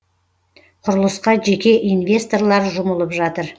құрылысқа жеке инвесторлар жұмылып жатыр